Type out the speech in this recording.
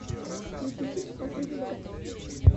включи фильм последний богатырь